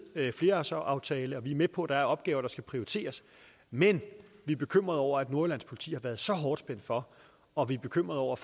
flerårsaftalen og vi er med på at der er opgaver der skal prioriteres men vi er bekymret over at nordjyllands politi har været så hårdt spændt for og vi er bekymret over